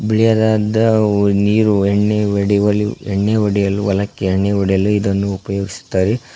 ಬಿಳಿಯಾದಾದ್ದ ನೀರು ಎಣ್ಣೆ ಒಡಿವಲು ಎಣ್ಣೆ ಒಡೆಯಲು ಹೊಲಕ್ಕೆ ಎಣ್ಣೆ ಹೊಡೆಯಲು ಇದನ್ನು ಉಪಯೋಗಿಸುತ್ತಾರೆ.